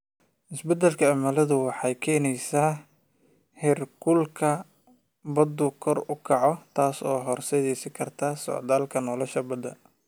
Isbeddelka cimiladu waxay keenaysaa in heerkulka baddu kor u kaco, taas oo horseedi karta socdaalka nolosha badda.